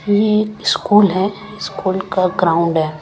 यह एक स्कूल है स्कूल का ग्राउंड है।